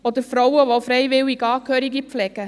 Oder für Frauen, die freiwillig Angehörige pflegen?